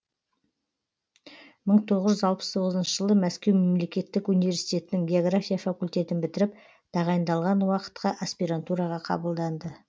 мың тоғыз жүз алпыс тоғызыншы жылы мәскеу мемлекеттік университетінің география факультетін бітіріп тағайындалған уақытқа аспирантураға қабылданды